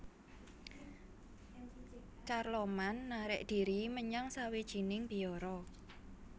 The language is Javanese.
Carloman narik dhiri menyang sawijining biara